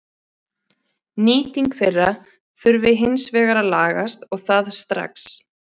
Nýting þeirra þurfi hins vegar að lagast og það strax.